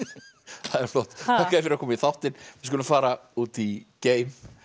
það er flott þakka þér fyrir að koma í þáttinn við skulum fara út í geim